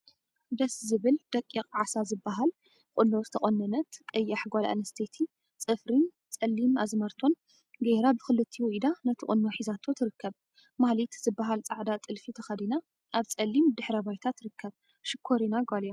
ደስ ዝብል ደቂቅ ዓሳ ዝብሃል ቁኖ ዝተቆነነት ቀያሕ ጓል አንስተይቲ ፅፍሪን ፀሊም አዝማልቶን ገይራ ብክልቲኡ ኢዳ ነቲ ቁኖ ሒዛቶ ትርከብ። ማህሌት ዝብሃል ፃዕዳ ጥልፊ ተከዲና አብ ፀሊም ድሕረ ባይታ ትርከብ። ሽኮሪና ጓል እያ።